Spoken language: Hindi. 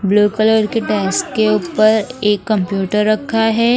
ब्लू कलर के डेस्क के ऊपर एक कंप्यूटर रखा है।